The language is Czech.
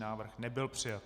Návrh nebyl přijat.